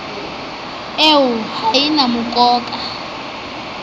eo ha e na mokoka